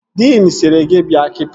Diin sịrị gị bịa kita!